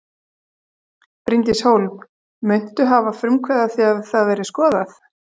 Bryndís Hólm: Muntu hafa frumkvæði að því að það verði skoðað?